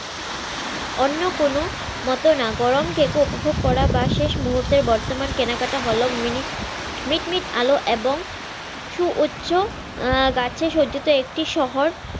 অন্য কোনো মতো না গরম কেক উপভোগ করা বা শেষ মুহুর্তে বর্তমান কেনাকাটা হল মিট মিট আলো এবং সুউচ্চ গাছে সাজ্জিত একটি শহর।